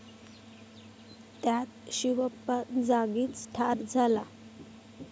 त्यात शिवप्पा जागीच ठार झाला.